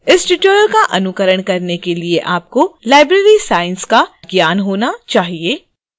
इस tutorial का अनुकरण करने के लिए आपको library science का ज्ञान होना चाहिए